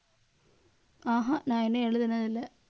ஆஹ் அஹ் நான் இன்னும் எழுதுனது இல்லை.